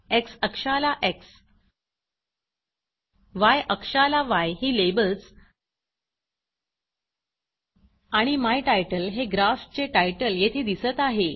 x अक्षाला X य अक्षाला य ही लेबल्स आणि माय तितले हे ग्राफचे टायटल येथे दिसत आहे